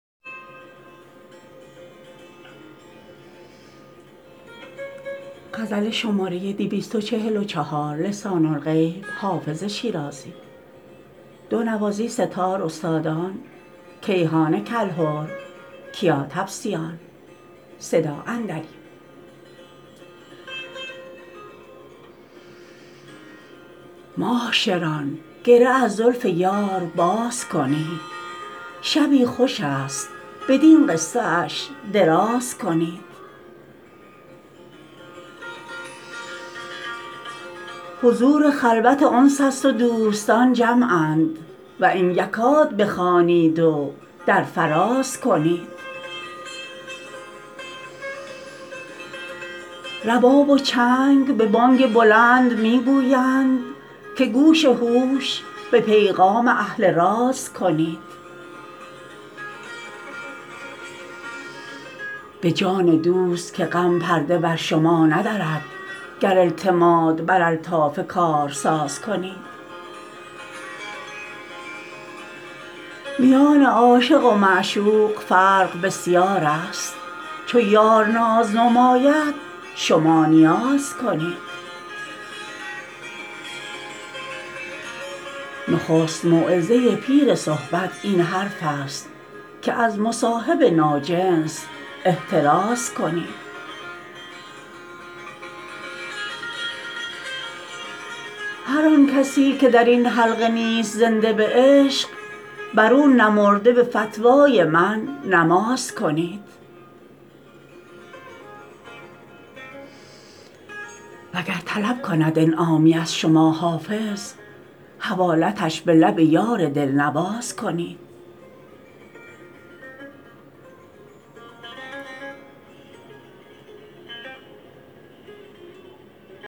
معاشران گره از زلف یار باز کنید شبی خوش است بدین قصه اش دراز کنید حضور خلوت انس است و دوستان جمعند و ان یکاد بخوانید و در فراز کنید رباب و چنگ به بانگ بلند می گویند که گوش هوش به پیغام اهل راز کنید به جان دوست که غم پرده بر شما ندرد گر اعتماد بر الطاف کارساز کنید میان عاشق و معشوق فرق بسیار است چو یار ناز نماید شما نیاز کنید نخست موعظه پیر صحبت این حرف است که از مصاحب ناجنس احتراز کنید هر آن کسی که در این حلقه نیست زنده به عشق بر او نمرده به فتوای من نماز کنید وگر طلب کند انعامی از شما حافظ حوالتش به لب یار دل نواز کنید